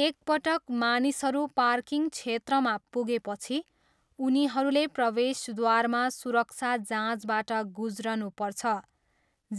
एकपटक मानिसहरू पार्किङ क्षेत्रमा पुगेपछि, उनीहरूले प्रवेशद्वारमा सुरक्षा जाँचबाट गुज्रनुपर्छ